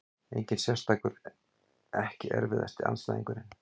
Engin sérstakur EKKI erfiðasti andstæðingur?